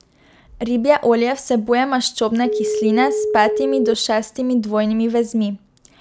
Ribje olje vsebuje maščobne kisline s petimi do šestimi dvojnimi vezmi.